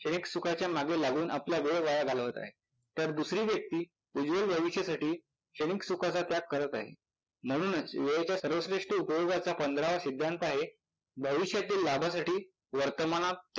क्षणिक सुखाच्या मागे लागून आपला वेळ वाया घालवत आहे, तर दुसरी व्यक्ती उज्ज्वल भविष्यासाठी क्षणिक सुखाचा त्याग करत आहे. म्हणूनच वेळेच्या सर्वश्रेष्ठ उपोयागाचा पंधरावा सिद्धांत आहे भविष्यातील लाभासाठी वर्तमानात